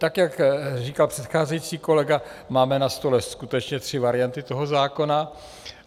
Tak jak říkal předcházející kolega, máme na stole skutečně tři varianty toho zákona.